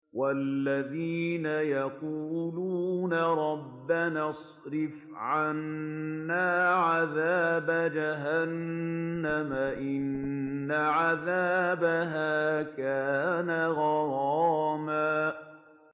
وَالَّذِينَ يَقُولُونَ رَبَّنَا اصْرِفْ عَنَّا عَذَابَ جَهَنَّمَ ۖ إِنَّ عَذَابَهَا كَانَ غَرَامًا